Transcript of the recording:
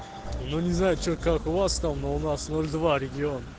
ну не знаю что как у вас там но у нас ноль два регион